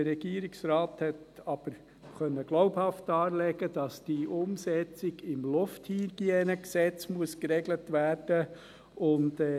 Der Regierungsrat konnte aber glaubhaft darlegen, dass die Umsetzung im Gesetz zur Reinhaltung der Luft (Lufthygienegesetz, LHG) geregelt werden muss.